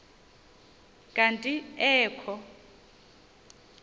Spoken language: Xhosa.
kanti ee kho